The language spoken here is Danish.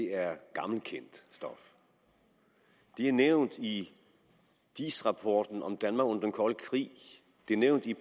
er gammelkendt stof de er nævnt i diis rapporten om danmark under den kolde krig de er nævnt i